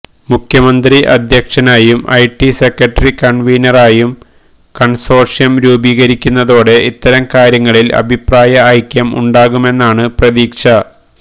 മുഖ്യമന്ത്രി അധ്യക്ഷനായും IT secretary കൺവീനറായും കൺസോർഷ്യം രൂപീകരിക്കുന്നതോടെ ഇത്തരം കാര്യങ്ങളിൽ അഭിപ്രായഐക്യം ഉണ്ടാകുമെന്നാണു പ്രതീക്ഷ